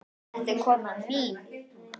Þetta er konan mín.